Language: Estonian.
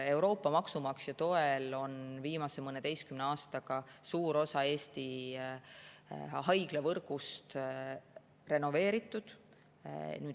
Euroopa maksumaksja toel on viimase mõneteistkümne aastaga suur osa Eesti haiglavõrgust renoveeritud.